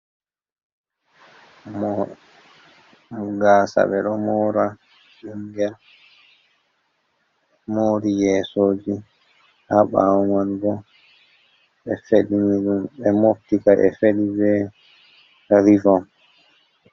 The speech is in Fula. Mo gasa ɓe ɗo mora, mori yesoji ha ɓawo manbo feɗi de be moptica ɓe fedi be rivon.